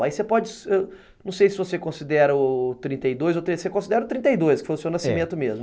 Aí você pode, não sei se você considera o trinta e dois, você considera o trinta e dois, que foi o seu nascimento mesmo.